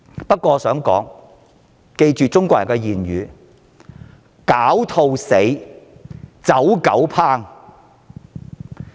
不過，請記住中國"狡兔死，走狗烹"這句諺語。